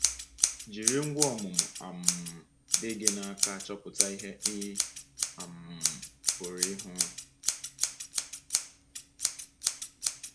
Jiri ngwá ọmụmụ um dị gị n’aka chọpụta ihe ị um pụrụ ịhụ.